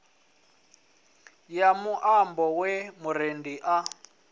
ya muambo ye murendi a